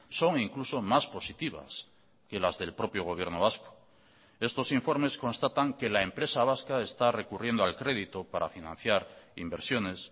son incluso más positivas que las del propio gobierno vasco estos informes constatan que la empresa vasca está recurriendo al crédito para financiar inversiones